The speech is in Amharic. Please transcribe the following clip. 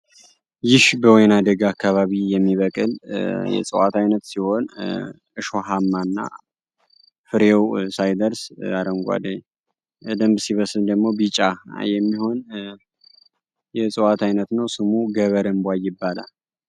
ይህ በወይና ደጋ አካባቢ የሚበቅል የእፅዋት አይነት ሲሆን ሾሀማ እና ፍሬው ሳይደርስ አረንጓዴ በደንብ ሲበስል ደግሞ ቢጫ የሚሆን የእፅዋት አይነት ነው። ስሙ ገበር እንቧይ ይባላል።